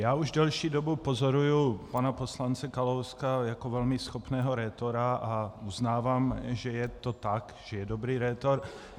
Já už delší dobu pozoruji pana poslance Kalouska jako velmi schopného rétora a uznávám, že je to tak, že je dobrý rétor.